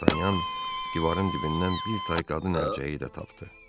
Dartanyan divarın dibindən bir tay qadın əlcəyi də tapdı.